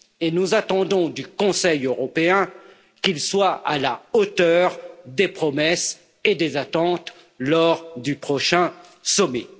Et nous attendons du Conseil européen qu'il soit à la hauteur des promesses et des attentes lors du prochain sommet.